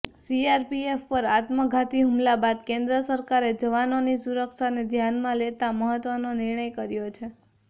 CRPF પર આત્મઘાતી હુમલા બાદ કેન્દ્ર સરકારે જવાનોની સુરક્ષાને ધ્યાનમાં લેતાં મહત્ત્વનો નિર્ણય કર્યો છે